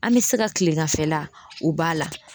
An me se ka kileganfɛla o ba la